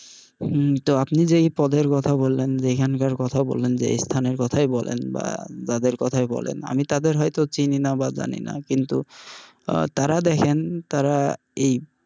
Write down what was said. হম তো আপনি যে পদের কথা বললেন যেখানকার কথা বললেন যেই স্থানের কথাই বলেন বা যাদের কথাই বলেন আমি তাদের হয়তো চিনিনা বা জানিনা কিন্তু আহ তারা দেখেন তারা এই,